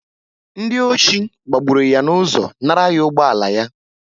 Ndị ọchị gbagburu ya n'ụzọ nara ya ụgbọala yá